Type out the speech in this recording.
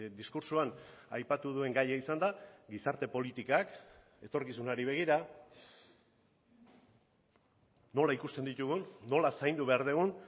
diskurtsoan aipatu duen gaia izan da gizarte politikak etorkizunari begira nola ikusten ditugun nola zaindu behar dugun